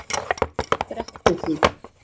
Brekkuhlíð